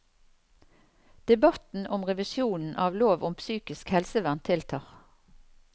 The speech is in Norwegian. Debatten om revisjonen av lov om psykisk helsevern tiltar.